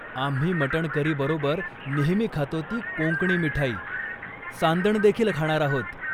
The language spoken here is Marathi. आम्ही मटण करी बरोबर नेहमी खातो ती कोंकणी मिठाई, सांदण देखील खाणार आहोत.